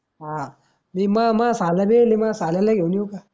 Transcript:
हा मी म म म साला बिली म्ह साल्याला घेऊन येऊ का?